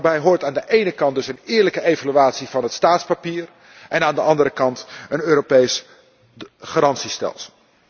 Daarbij hoort aan de ene kant dus een eerlijke evaluatie van het staatspapier en aan de andere kant een Europees garantiestelsel.